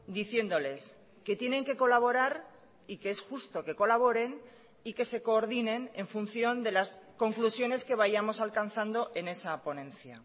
diciéndoles que tienen que colaborar y que es justo que colaboren y que se coordinen en función de las conclusiones que vayamos alcanzando en esa ponencia